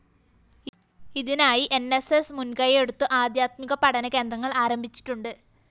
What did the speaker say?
ഇതിനായി ന്‌ സ്‌ സ്‌ മുന്‍കയ്യെടുത്ത് ആധ്യാത്മിക പഠനകേന്ദ്രങ്ങള്‍ ആരംഭിച്ചിട്ടുണ്ട്